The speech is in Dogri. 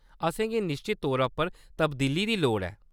असेंगी निश्चत तौरा पर तब्दीली दी लोड़ ऐ।